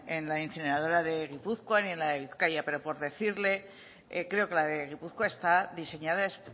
en la incineradora de gipuzkoa ni en la de bizkaia pero por decirle creo que la de gipuzkoa está diseñada